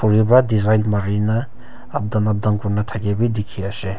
khori para design Mari na up down up down kori na thaki bhi dekhi ase.